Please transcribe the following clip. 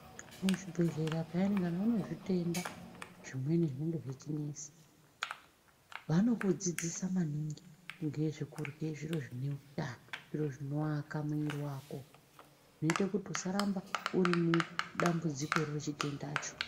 Muzvibhedhlera peya kana unezvitenda zvimweni zvinenge zvechinesa. Vanokudzidzisa maningi ngezvekurye zviro zvineutano zviro zvinoaka mwiri vako. Zvinote kuti usaramba uri mudambudzikoro rechitendacho.